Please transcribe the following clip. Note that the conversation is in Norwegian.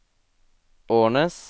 Ornes